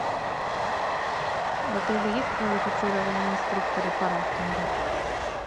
в отеле есть квалифицированные инструкторы по рафтингу